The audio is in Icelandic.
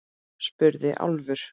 spurði Álfur.